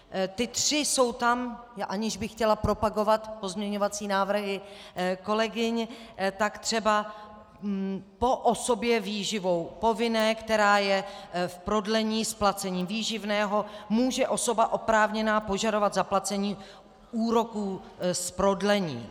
Ty tři jsou tam, aniž bych chtěla propagovat pozměňovací návrhy kolegyň, tak třeba po osobě výživou povinné, která je v prodlení s placením výživného, může osoba oprávněná požadovat zaplacení úroků z prodlení.